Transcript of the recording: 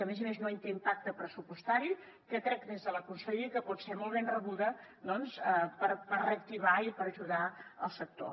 a més a més no té un impacte pressupostari i crec des de la conselleria que pot ser molt ben rebuda per reactivar i per ajudar el sector